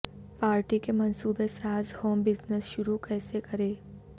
party کے منصوبہ ساز ہوم بزنس شروع کیسے کریں